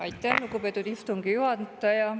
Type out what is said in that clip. Aitäh, lugupeetud istungi juhataja!